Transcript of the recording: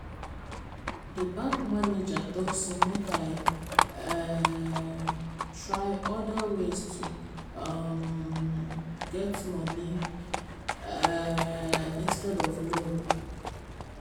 the bank manager talk say make i um try other ways to um get money um instead of loan.